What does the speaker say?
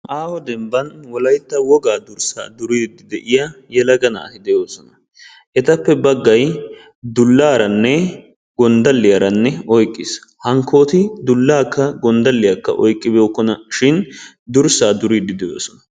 Aaho dembban wolaytta wogaa durssaa duriidi de'iyaa yelaga naati de'oosona. etappe baggay dullaaranne gonddalliyaara oyqqiis. hankkooti dullaakka gonddakiyaakka oyqqi bookkonashin durssaa duriidi de'oosona.